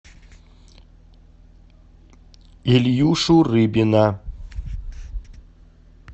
ильюшу рыбина